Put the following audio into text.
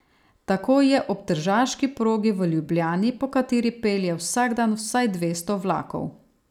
Tako je ob tržaški progi v Ljubljani, po kateri pelje vsak dan vsaj dvesto vlakov.